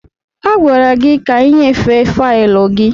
A gwara gị ka ị nyefee faịlụ gị!